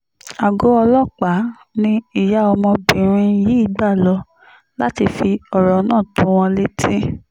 àgọ́ ọlọ́pàá ni ìyá ọmọbìnrin yìí gbà lọ láti fi ọ̀rọ̀ náà tó wọn létí